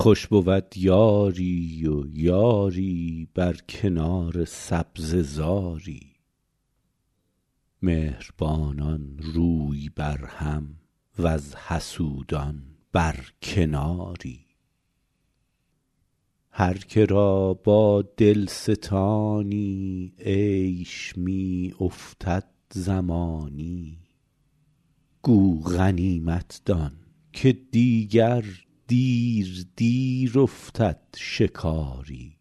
خوش بود یاری و یاری بر کنار سبزه زاری مهربانان روی بر هم وز حسودان بر کناری هر که را با دل ستانی عیش می افتد زمانی گو غنیمت دان که دیگر دیر دیر افتد شکاری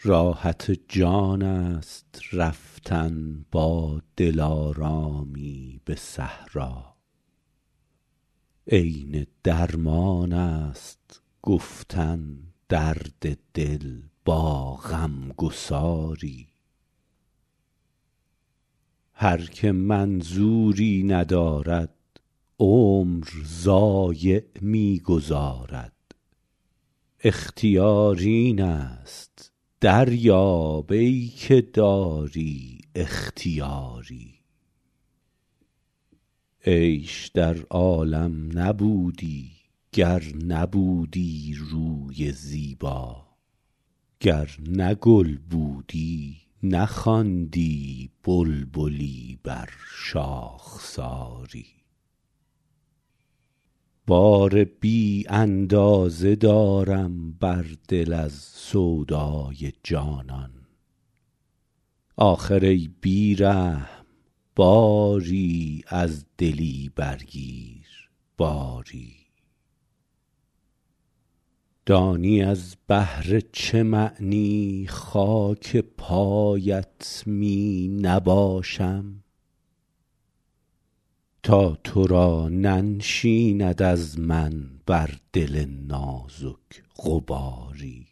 راحت جان است رفتن با دلارامی به صحرا عین درمان است گفتن درد دل با غم گساری هر که منظوری ندارد عمر ضایع می گذارد اختیار این است دریاب ای که داری اختیاری عیش در عالم نبودی گر نبودی روی زیبا گر نه گل بودی نخواندی بلبلی بر شاخساری بار بی اندازه دارم بر دل از سودای جانان آخر ای بی رحم باری از دلی برگیر باری دانی از بهر چه معنی خاک پایت می نباشم تا تو را ننشیند از من بر دل نازک غباری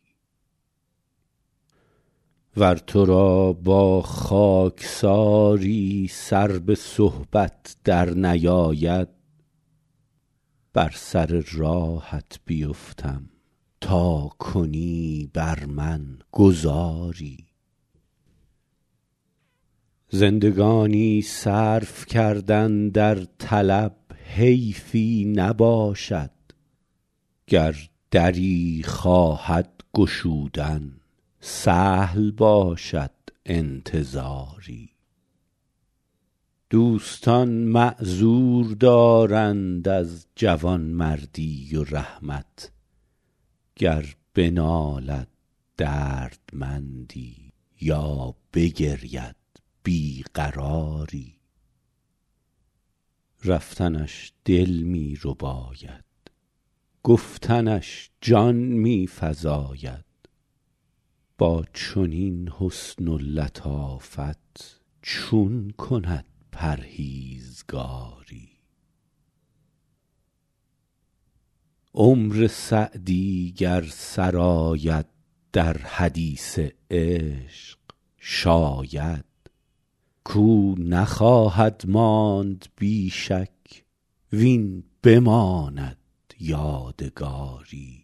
ور تو را با خاکساری سر به صحبت درنیاید بر سر راهت بیفتم تا کنی بر من گذاری زندگانی صرف کردن در طلب حیفی نباشد گر دری خواهد گشودن سهل باشد انتظاری دوستان معذور دارند از جوانمردی و رحمت گر بنالد دردمندی یا بگرید بی قراری رفتنش دل می رباید گفتنش جان می فزاید با چنین حسن و لطافت چون کند پرهیزگاری عمر سعدی گر سر آید در حدیث عشق شاید کاو نخواهد ماند بی شک وین بماند یادگاری